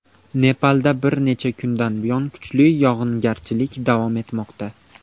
Nepalda bir necha kundan buyon kuchli yog‘ingarchilik davom etmoqda.